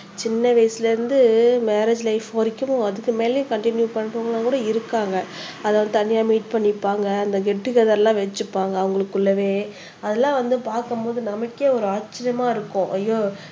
சின்ன வயசுல இருந்து மேரேஜ் லைப் வரைக்கும் அதுக்கு மேலேயே கண்டின்யூ பண்றவங்க கூட இருக்காங்க அதாவது இந்த தனியா மீட் பண்ணிப்பாங்க அந்த கெட்டுகெதர்லாம் வெச்சிப்பாங்க அவங்களுக்குள்ளவே அதெல்லாம் வந்து பார்க்கும்போது நமக்கே ஒரு ஆச்சரியமா இருக்கும் அய்யோ